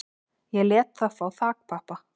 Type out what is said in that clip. Ég lét þá fá þakpappa